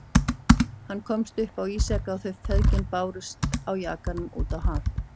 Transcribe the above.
Hann komst upp á ísjaka og þau feðgin bárust á jakanum á haf út.